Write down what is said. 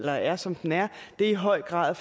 er som den er i høj grad